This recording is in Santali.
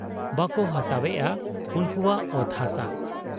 ᱵᱟᱠᱚ ᱦᱟᱛᱟᱣᱮᱜ ᱟ ᱩᱱᱠᱩᱣᱟᱜ ᱚᱛ ᱦᱟᱥᱟ ?